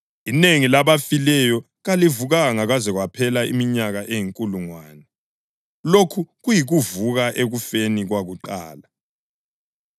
(Inengi labafileyo kalivukanga kwaze kwaphela iminyaka eyinkulungwane.) Lokhu yikuvuka ekufeni kwakuqala.